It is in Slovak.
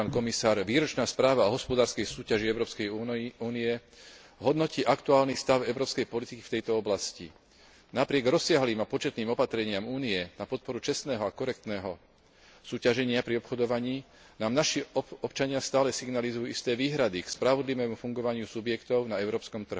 Výročná správa o hospodárskej súťaži Európskej únie hodnotí aktuálny stav európskej politiky v tejto oblasti. Napriek rozsiahlym a početným opatreniam Únie na podporu čestného a korektného súťaženia pri obchodovaní nám naši občania stále signalizujú isté výhrady k spravodlivému fungovaniu subjektov na európskom trhu.